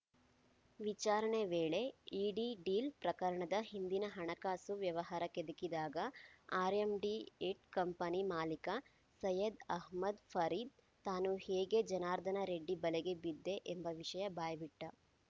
ವಿಚಾರಣೆ ವೇಳೆ ED deal ಪ್ರಕರಣದ ಹಿಂದಿನ ಹಣಕಾಸು ವ್ಯವಹಾರ ಕೆದಕಿದಾಗ R M D head company ಮಾಲಿಕ ಸೈಯದ್‌ ಅಹಮದ್‌ ಫರೀದ್‌ ತಾನು ಹೇಗೆ ಜನಾರ್ದನ ರೆಡ್ಡಿ ಬಲೆಗೆ ಬಿದ್ದೆ ಎಂಬ ವಿಷಯ ಬಾಯ್ಬಿಟ್ಟ